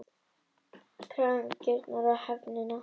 KRAFA UM GAGNRÝNI Á HEFÐINA